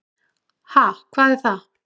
Ha, hvað er það.